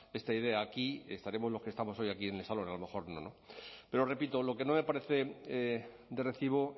esta idea aquí estaremos los que estamos hoy aquí en el salón a lo mejor no no pero repito lo que no me parece de recibo